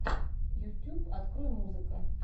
ютьюб открой музыка